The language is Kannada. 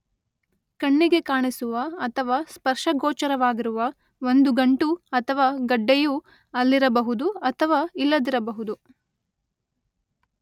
ಕಣ್ಣಿಗೆ ಕಾಣಿಸುವ ಅಥವಾ ಸ್ಪರ್ಶಗೋಚರವಾಗಿರುವ ಒಂದು ಗಂಟು ಅಥವಾ ಗಡ್ಡೆಯು ಅಲ್ಲಿರಬಹುದು ಅಥವಾ ಇಲ್ಲದಿರಬಹುದು.